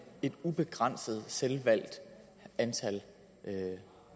et ubegrænset selvvalgt antal